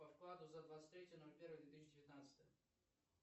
по вкладу за двадцать третье ноль первое две тысячи девятнадцатое